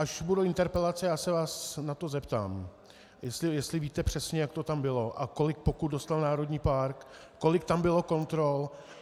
Až budou interpelace, já se vás na to zeptám, jestli víte přesně, jak to tam bylo a kolik pokut dostal národní park, kolik tam bylo kontrol.